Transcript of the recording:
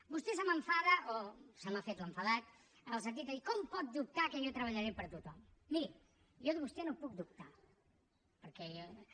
vostè se m’enfada o se m’ha fet l’enfadat en el sentit de dir com pot dubtar que jo treballaré per tothom miri jo de vostè no puc dubtar perquè